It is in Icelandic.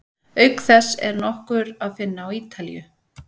Auk þess er nokkur að finna á Ítalíu.